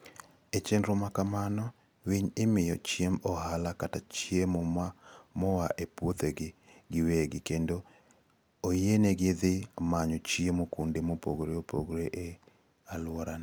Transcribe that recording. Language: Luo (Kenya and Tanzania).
E chenro ma kamano, winy imiyo chiemb ohala kata chiemo moa e puodhogi giwegi kendo oyienegi dhi manyo chiemo kuonde mopogore opogore e alworano.